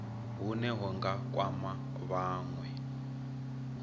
hune hu nga kwama vhanwe